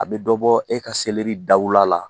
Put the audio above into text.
A bɛ dɔbɔ e ka dawula la